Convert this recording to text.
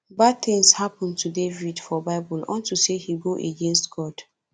bad things happen to david for bible unto say he go against god